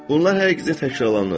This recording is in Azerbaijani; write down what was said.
Bunlar hər gecə təkrarlanır.